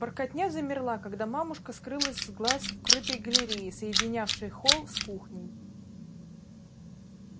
воркотня замерла когда мамушка скрылась с глаз в крытой галерее соединявшей холл с кухней